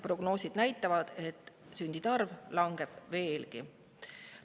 Prognoosid näitavad, et sündide arv langeb veelgi.